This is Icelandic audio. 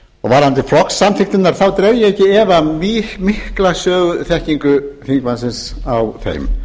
varðandi flokkssamþykktirnar þá dreg ég ekki í efa mismikla söguþekkingu þingmannsins á þeim